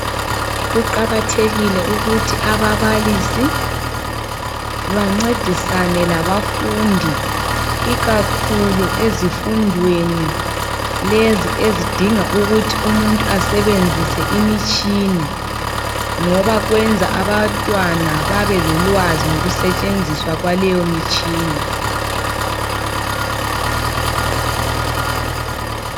Kuqakathekile ukuthi ababalisi bancedisane labafundi ikakhulu ezifundweni lezi ezidinga ukuthi umuntu asebenzise imitshini, ngoba kwenza abantwana babe lolwazi ngokusetshenziswa kwaleyo mitshina.